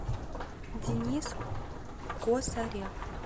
денис косарев